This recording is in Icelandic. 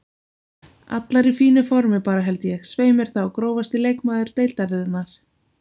Allar í fínu formi bara held ég, svei mér þá Grófasti leikmaður deildarinnar?